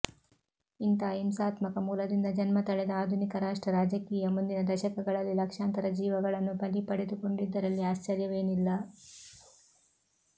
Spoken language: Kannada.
ಇಂಥ ಹಿಂಸಾತ್ಮಕ ಮೂಲದಿಂದ ಜನ್ಮ ತಳೆದ ಆಧುನಿಕ ರಾಷ್ಟ್ರ ರಾಜಕೀಯ ಮುಂದಿನ ದಶಕಗಳಲ್ಲಿ ಲಕ್ಷಾಂತರ ಜೀವಗಳನ್ನು ಬಲಿ ಪಡೆದುಕೊಂಡಿದ್ದರಲ್ಲಿ ಆಶ್ಚರ್ಯವೇನಿಲ್ಲ